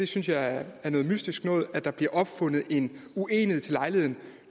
synes jeg er noget mystisk noget altså at der bliver opfundet en uenighed til lejligheden